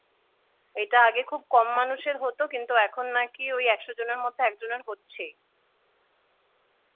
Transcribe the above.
এটা আগে খুব কম মানুষের হতো কিন্তু এখন নাকি ওই একশো জনের মধ্যে একজনের হচ্ছেই।